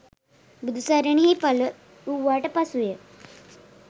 බුදුසරණෙහි පළ වූවාට පසුව ය.